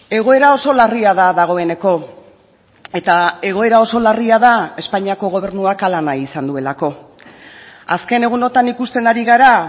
egoera oso larria da dagoeneko eta egoera oso larria da espainiako gobernuak hala nahi izan duelako azken egunotan ikusten ari gara